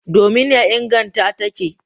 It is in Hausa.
Domin ya inganta ga take.